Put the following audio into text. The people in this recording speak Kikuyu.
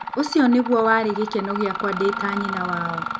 Ũcio nĩguo warĩ gĩkeno gĩakwa ndĩ ta nyina wao.